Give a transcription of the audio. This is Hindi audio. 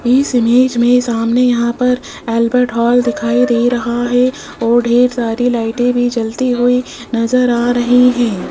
इस इमेज में सामने यहां पर अल्बर्ट हॉल दिखाई दे रहा है और ढेर सारी लाइटें भी जलती हुई नजर आ रही है।